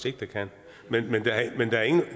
ikke der kan men